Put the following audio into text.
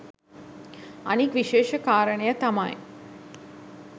අනික් විශේෂ කාරණය තමයි